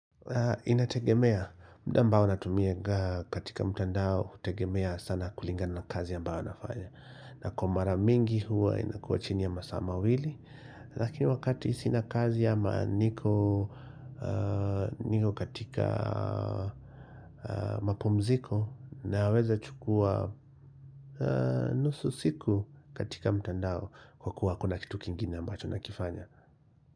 Inategemea, mda ambao natumiaga katika mtandao, inategemea sana kulingana na kazi ya ambayo nafanya. Na kwa mara mingi huwa inakuwa chini ya masaa mawili, lakini wakati sina kazi ama niko katika mapumziko naweza chukua nusu siku katika mtandao kwa kuwa kuna kitu kingine ambacho nakifanya.